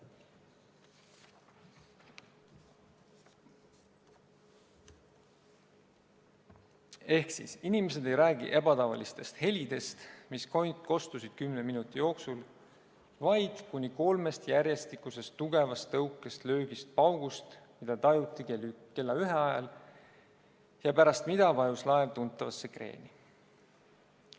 Niisiis, inimesed ei räägi ebatavalistest helidest, mis kostsid kümne minuti jooksul, vaid kuni kolmest järjestikusest tugevast tõukest, löögist, paugust, mida tajuti kella ühe ajal ja pärast mida vajus laev tuntavasse kreeni.